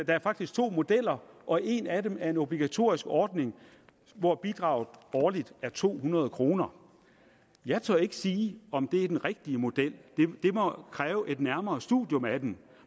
er faktisk to modeller og en af dem er en obligatorisk ordning hvor bidraget årligt er to hundrede kroner jeg tør ikke sige om det er den rigtige model det må kræve et nærmere studium af den